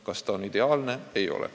Kas see on ideaalne?